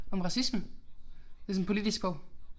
Om racisme. Det sådan en politisk bog